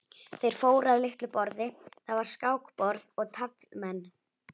Þeir fóru að litlu borði, þar var skákborð og taflmenn.